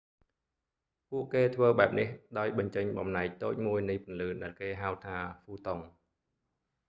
ពួកគេធ្វើបែបនេះ ដោយបញ្ចេញបំណែកតូចមួយនៃពន្លឺដែលគេហៅថា ហ្វូតុន